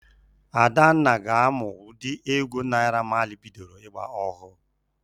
Adanna ga-amụ ụdị égwú Naịra Mali bidoro ị́gbā ọhụụ.